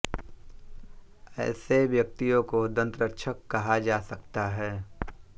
ऐसे व्यक्तियों को दंतरक्षक कहा जा सकता है